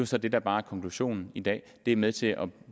så det der bare er konklusionen i dag det er med til at